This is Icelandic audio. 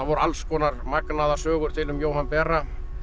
alls konar magnaðar sögur til um Jóhann bera